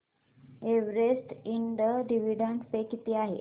Everest Ind dividend पे किती आहे